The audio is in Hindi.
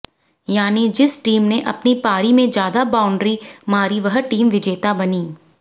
यानी जिस टीम ने अपनी पारी में ज्यादा बॉउंड्री मारी वह टीम विजेता बनी